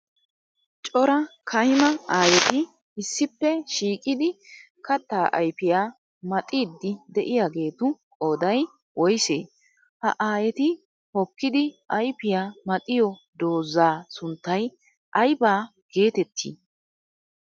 Coraa kayima aayetti issippe shiiqiddi katta ayfiya maxxiddi de'yaagettu qooday woysse? Ha aayetti hokkiddi ayfiyaa maxxiyo doozaa sunttay aybba geetteti?